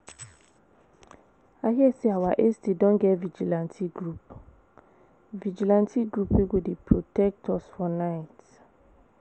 I hear say our estate don get vigilante group vigilante group wey go dey protect us for night